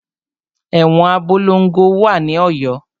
Ẹ̀wọn Abolongo wà ní Ọ̀yọ́.